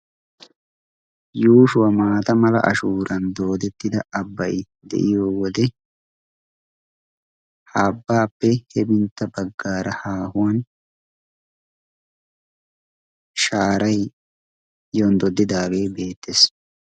yuushuwaa maata mala ashuuran doodettida abbai de7iyo wode ha abbaappe hefintta baggaara haahuwan shaarai yonddodidaagee beettees